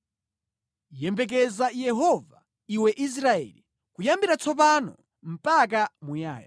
Yembekeza Yehova, iwe Israeli, kuyambira tsopano mpaka muyaya.